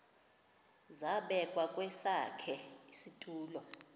zabekwa kwesakhe isitulo